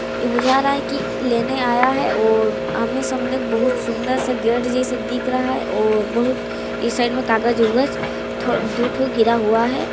यह बुझा रहा है कि लेने आया है और आमने -सामने बहुत सुंदर सा गेट जैसे दिख रहा है और बहुत इस साइड में कागज-वागज दो तो गिरा हुआ है।